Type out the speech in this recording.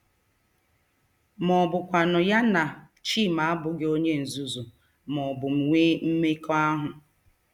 Ma ọ bụkwanụ ya na Chima abụghị onye nzuzu ma ọ bụ nwee mmekọahụ.